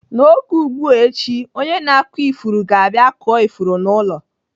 N'oge ugbu a echi, onye na-akụ ifuru ga-abịa kụọ ifuru n'ụlọ.